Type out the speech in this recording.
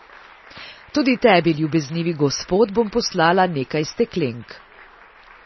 Tudi Tebi, ljubeznivi gospod, bom poslala nekaj steklenk.